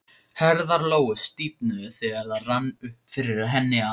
Herðar Lóu stífnuðu þegar það rann upp fyrir henni að